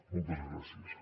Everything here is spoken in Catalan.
moltes gràcies